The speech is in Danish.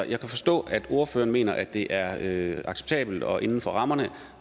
jeg kan forstå at ordføreren mener at det er acceptabelt og inden for rammerne